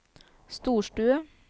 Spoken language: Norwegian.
storstue